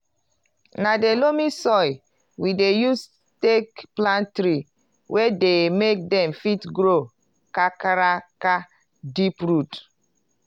na di loamy soil we dey use take plant tree wey dey make dem fit grow kakaraka deep root.